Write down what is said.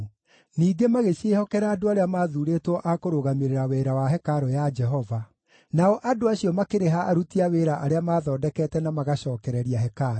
Ningĩ magĩciĩhokera andũ arĩa maathuurĩtwo a kũrũgamĩrĩra wĩra wa hekarũ ya Jehova. Nao andũ acio makĩrĩha aruti a wĩra arĩa maathondekete na magacookereria hekarũ.